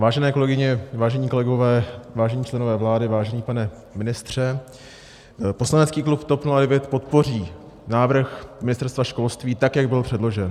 Vážené kolegyně, vážení kolegové, vážení členové vlády, vážený pane ministře, poslanecký klub TOP 09 podpoří návrh Ministerstva školství, tak jak byl předložen.